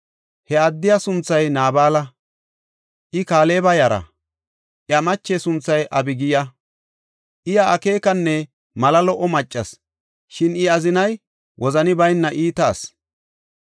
He addiya sunthay Naabala, I Kaaleba yara; iya mache sunthay Abigiya. Iya akeekanchonne mala lo77o maccas, shin I azinay wozani bayna iita asi.